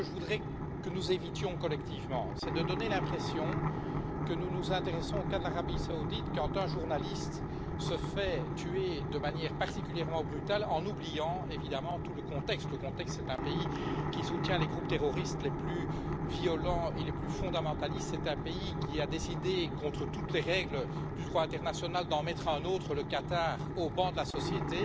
Je voudrais que nous évitions, collectivement, de donner l'impression que nous nous intéressons au cas de l'Arabie Saoudite quand un journaliste se fait tuer de manière particulièrement brutale en oubliant évidemment tout le contexte, à savoir qu'il s'agit d'un pays qui soutient les groupes terroristes les plus violents et les plus fondamentalistes, un pays qui a décidé, contre toutes les règles du droit international, d'en mettre un autre le Qatar au ban de la société,